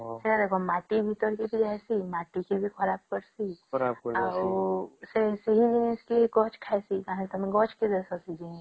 ମାଟି ଭିତରକେ ବି ଜାଇସୀ ମାଟି କୁ ବି ଖରାପ କରସେ ଆଉ ସେ ଜିନିଷ ଗଛ ଖାଇସେ ଆଉ ତମେ ଗଛ କେ